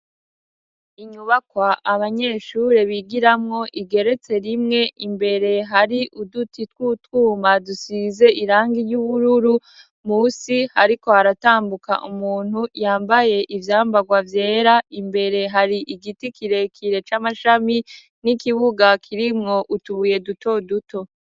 Inyubakwa abanyeshure bigiramwo igeretse rimwe, imbere hari uduti tw'utwuma dusize irangi ry'ubururu, musi hariko haratambuka umuntu yambaye ivyambagwa vyera, imbere hari igiti kirekire c'amashami n'ikibuga kirimwo utubuye duto duto.